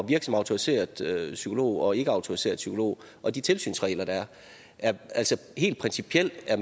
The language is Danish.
virke som autoriseret psykolog og ikkeautoriseret psykolog og de tilsynsregler der er altså helt principielt er